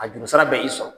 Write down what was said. A juru sira bɛ i sɔrɔ